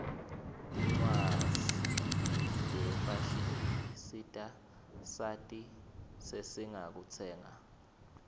tincwaszi tefashini tisita sati zesingakutsenga